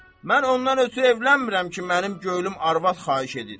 Mən ondan ötrü evlənmirəm ki, mənim könlüm arvad xahiş edir.